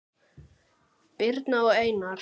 Birna og Einar.